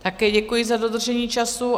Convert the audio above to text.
Také děkuji za dodržení času.